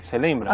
Você lembra?